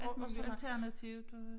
Og og alternativt øh